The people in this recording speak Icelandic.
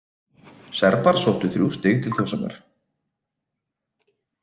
Serbar sóttu þrjú stig til Þórshafnar